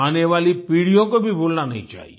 आने वाली पीढ़ियों को भी भूलना नहीं चाहिए